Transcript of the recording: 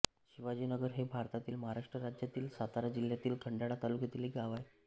शिवाजीनगर हे भारतातील महाराष्ट्र राज्यातील सातारा जिल्ह्यातील खंडाळा तालुक्यातील एक गाव आहे